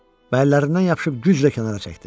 Mən əllərindən yapışıb güclə kənara çəkdim.